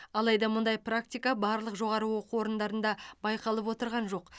алайда мұндай практика барлық жоғары оқу орындарында байқалып отырған жоқ